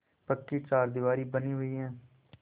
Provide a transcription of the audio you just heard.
पक्की चारदीवारी बनी हुई है